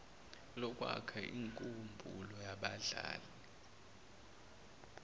lokwakha inkumbulo yabahlali